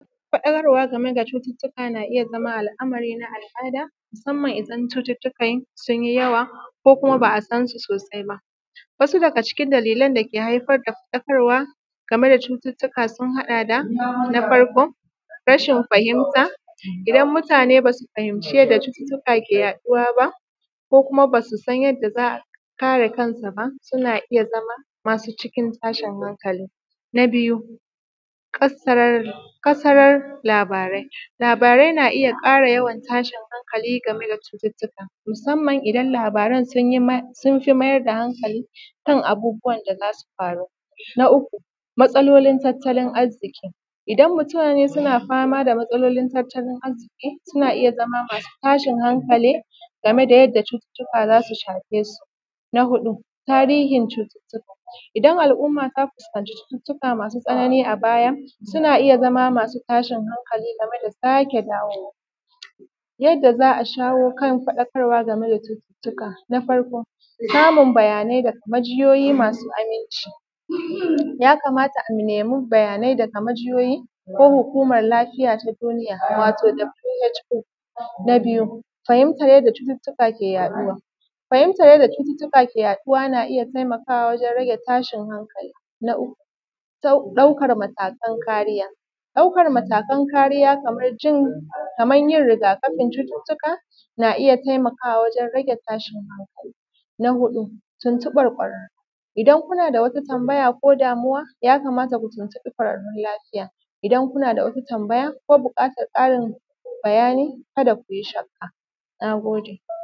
Faɗakarwa game da cutuuka na iya zamowa al’amari na al’ada musamman idan cututtukan sun yi yawan ko kuma ba a san su sosai ba, wasu daga cikin dalilan dake haifar da faɗakarwa game da cutuuka sun haɗa da: na farko rashin fahimta, idan mutane ba su fahimci yanda cututtuwa ke yaɗuwa ba, ko kuma ba su san yanda za su kare kansu suna zama masu cikin tashin hankali. Na biyu kasar labarai, labarai na iya ƙara yawan tashin hankali game da cututtuka musamman idan labaran sun fi mayar da hankali kan abubuwan da za su faru, na uku matsalolin tattalin arziki, idan muatne suna fama da matsalolin tatalin arziki suna iya zama masu tashin hankali game da yadda cututtuka za su shafe su, na huɗu tarihin cututtuka idan al’umma za su zaci cututtuka masu tsanani a baya suna iya zama masu tashin hankali game da sake dawowa. Yadda za a shawo kan faɗakarwa game da cututtuka na farko samun bayani daga majiyoyi masu aminci, yakamaata a nemi bayanai daga majiyoyi ko hukumar lafiya ta duniya wato who, na biyu fahimtar yadda cututtuka ke yaɗuwa, fahimtar yanda cututtuka ke yaɗuwa, na iya taimakawa wajen rage tashin hankali, na uku ɗaukar matakan kariya, ɗaukar matakan kariya kamar yin rigakafin cututtuka na iya taimakawa wajen rage tashin hankali, na huɗu tuntuɓar kwararun idan kuna da wata tambaya ko damuwa ya kamata ku tuntuɓi kwararrun lafiya, idan kuna da wata tambaya ko ƙarin bayani ka da ku yi shakka. Na gode.